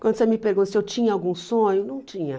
Quando você me pergunta se eu tinha algum sonho, não tinha.